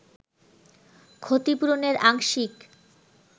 ক্ষতিপূরণের আংশিক